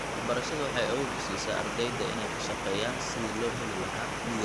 Waxbarashadu waxay awood u siisaa ardayda inay ka shaqeeyaan sidii loo heli lahaa midaysan.